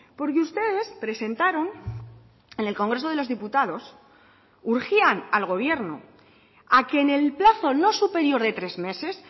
porque ustedes presentaron en el congreso de los diputados urgían al gobierno a que en el plazo no superior de tres meses